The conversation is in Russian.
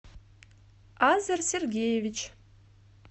азер сергеевич